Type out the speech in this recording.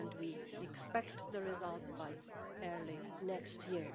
We expect the results by early next year.